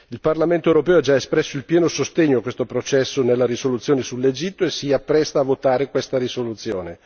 Il Parlamento europeo ha già espresso pieno sostegno a questo processo nella risoluzione sull'Egitto e si appresta a votare questa risoluzione.